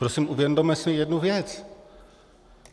Prosím, uvědomme si jednu věc.